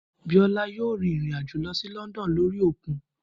Biola yóò rìn rìn àjò lọ sí Lọ́ndọ̀nù lórí òkun